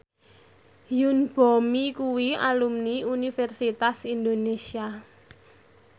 Yoon Bomi kuwi alumni Universitas Indonesia